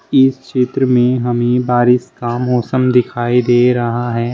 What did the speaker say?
इस क्षेत्र में हमें बारिश का मौसम दिखाई दे रहा है।